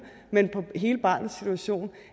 men på hele barnets situation